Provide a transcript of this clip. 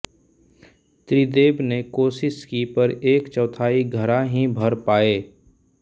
त्रिदेव ने कोशिश की पर एक चौथाई घडा ही भर पाए